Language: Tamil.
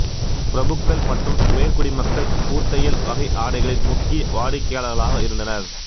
பிரபுக்கள் மற்றும் உயர்குடிமக்கள் பூத்தையல் வகை ஆடைகளின் முக்கிய வாடிக்கையாளர்களாக இருந்தனர்